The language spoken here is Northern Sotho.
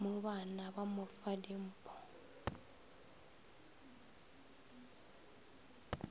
mobana ba mo fa dimfo